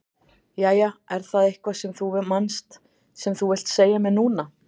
Jæja, er það eitthvað sem þú manst sem þú vilt segja mér núna?